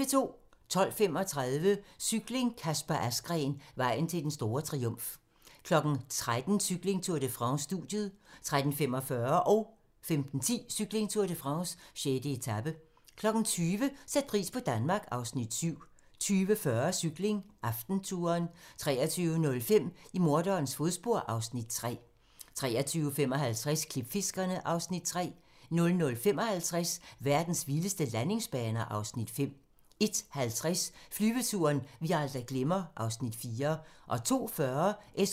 12:35: Cykling: Kasper Asgreen - vejen til den store triumf 13:00: Cykling: Tour de France - studiet 13:45: Cykling: Tour de France - 6. etape 15:10: Cykling: Tour de France - 6. etape 20:00: Sæt pris på Danmark (Afs. 7) 20:40: Cykling: AftenTouren 23:05: I morderens fodspor (Afs. 3) 23:55: Klipfiskerne (Afs. 3) 00:55: Verdens vildeste landingsbaner (Afs. 5) 01:50: Flyveturen, vi aldrig glemmer (Afs. 4)